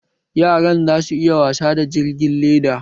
Yaran za su iya wasa da jirgin leda